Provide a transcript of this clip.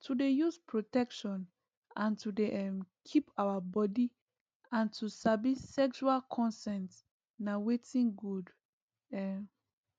to dey use protection and to dey um keep our body and to sabi sexual consent na watin good um